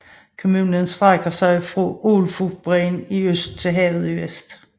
Kommunen strækker sig fra Ålfotbreen i øst til havet i vest